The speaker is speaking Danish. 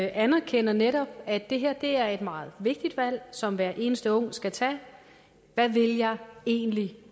anerkender netop at det her er et meget vigtigt valg som hver eneste unge skal tage hvad vil jeg egentlig